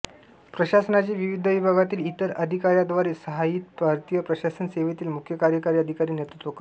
प्रशासनाचे विविध विभागांतिल इतर अधिकार्यांद्वारे सहाय्यित भारतीय प्रशासन सेवेतिल मुख्य कार्यकारी अधिकारी नेतृत्व करतो